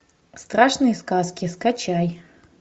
страшные сказки скачай